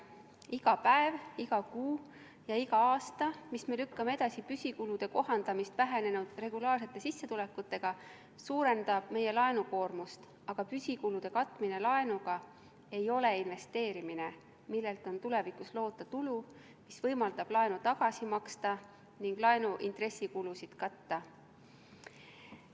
Iga päev, iga kuu ja iga aasta, mille võrra me lükkame edasi püsikulude kohandamist vähenenud regulaarsete sissetulekutega, suurendab meie laenukoormust, aga püsikulude katmine laenuga ei ole investeerimine, millelt on tulevikus loota tulu, mis võimaldab laenu tagasi maksta ning laenu intressikulusid katta.